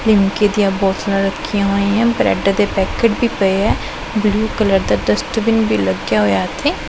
ਲਿਮਕੇ ਦੀਆਂ ਬੋਤਲਾਂ ਰੱਖੀਆਂ ਹੋਈਆਂ ਹਨ ਬਰੈਡ ਦੇ ਪੈਕਟ ਵੀ ਪਏ ਐ ਬਲੂ ਕਲਰ ਦਾ ਡਸਟਬਿਨ ਵੀ ਲੱਗਿਆ ਹੋਇਆ ਇਥੇ।